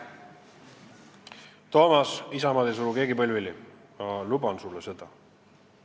Toomas, Isamaad ei suru keegi põlvili, ma luban sulle seda.